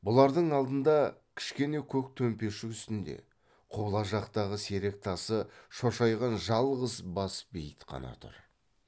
бұлардың алдында кішкене көк төмпешік үстінде құбыла жақтағы серек тасы шошайған жалғыз бас бейіт қана тұр